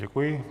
Děkuji.